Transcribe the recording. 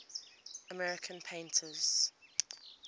american painters